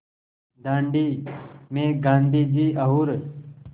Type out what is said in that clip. दाँडी में गाँधी जी और